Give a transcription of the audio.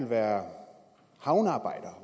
være havnearbejdere